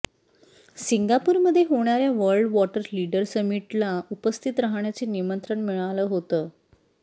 सिंगापूरमध्ये होणार्या world water leader समिटला उपस्थित रहाण्याचे निमंत्रण मिळालं होतं